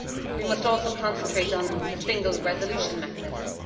We must also concentrate on the single resolution mechanism.